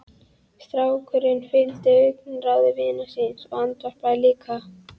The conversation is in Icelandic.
Strákurinn fylgir augnaráði vinar síns og andvarpar líka.